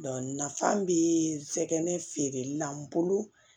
nafa bɛ sɛgɛn feereli la n bolo